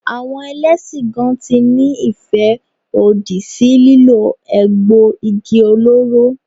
Àwọn Ẹlẹ́sìn gan tí ní ìfẹ́ òdì sí lílo egbò igi olóró.